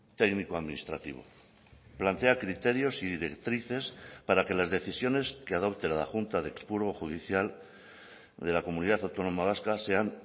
técnico administrativo plantea criterios y directrices para que las decisiones que adopte la junta de expurgo judicial de la comunidad autónoma vasca sean